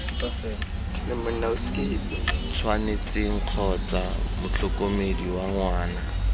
tshwanetseng kgotsa motlhokomedi wa ngwana